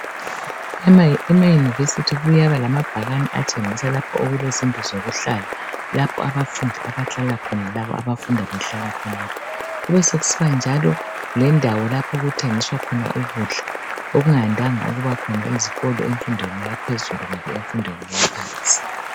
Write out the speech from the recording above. Emayunivesithi kuyaba lamabhakane atshengisa lapho okulezindlu zokuhlala, lapho abafundi abahlala khona laba abafunda behlala khonapho. Kube sokusiba njalo lendawo lapho okuthengiswa khona ukudla, okungayandanga ukuba khona ezikolo emfundweni yaphezulu kumbe emfundweni yaphansi.